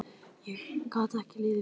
Ég gat ekki litið við.